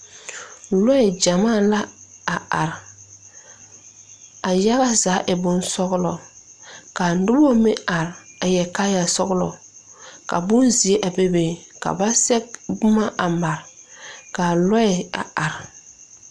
Lɔɛ gyamaa la a are a yaga zaa e bonsɔglɔ ka noba meŋ are a yɛre kaayasɔglɔ ka bonzeɛ a bebe ka ba sɛge boma a mare k,a lɔɛ a are.